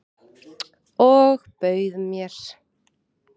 Og bauð mér.